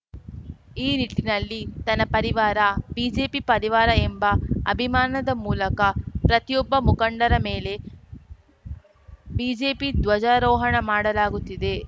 ಈ ನಿಟ್ಟಿನಲ್ಲಿ ತನ್ನ ಪರಿವಾರ ಬಿಜೆಪಿ ಪರಿವಾರ ಎಂಬ ಅಭಿಮಾನದ ಮೂಲಕ ಪ್ರತಿಯೊಬ್ಬ ಮುಖಂಡರ ಮೇಲೆ ಬಿಜೆಪಿ ಧ್ವಜಾರೋಹಣ ಮಾಡಲಾಗುತ್ತಿದೆ